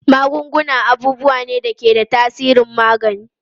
Magunguna abubuwa ne da ke da tasirin magani.